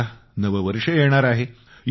आणि आता नवं वर्ष येणार आहे